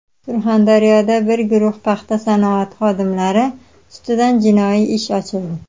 Surxondaryoda bir guruh paxta sanoati xodimlari ustidan jinoiy ish ochildi.